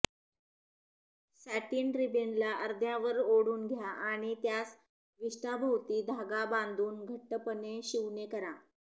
satin रिबिनला अर्ध्यावर ओढून घ्या आणि त्यास विष्ठाभोवती धागा बांधून घट्टपणे शिवणे करा